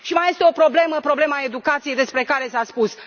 Și mai este o problemă problema educației, despre care s a vorbit.